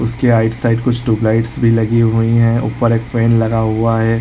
उसकी right side कूछ tube light भी लगी हुए है ऊपर एक पेड़ लगा हुआ है।